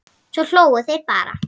Svo hlógu þeir bara.